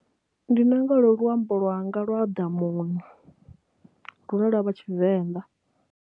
Ndi nanga lolwu luambo lwanga lwa ḓamuni lune lwa vha Tshivenḓa.